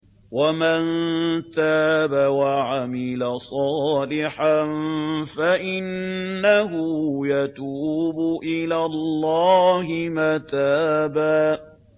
وَمَن تَابَ وَعَمِلَ صَالِحًا فَإِنَّهُ يَتُوبُ إِلَى اللَّهِ مَتَابًا